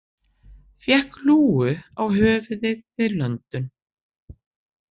Fékk lúgu á höfuðið við löndun